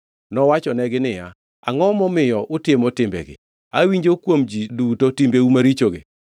Nowachonegi niya, “Angʼo momiyo utimo timbegi? Awinjo kuom ji duto timbeu marichogi.